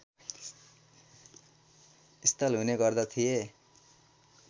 स्थल हुने गर्दथिए